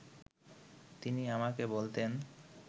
তিনি আমাকে বলতেন